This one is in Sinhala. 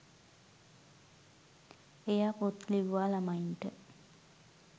එයා පොත් ලිව්වා ළමයින්ට